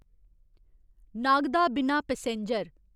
नागदा बिना पैसेंजर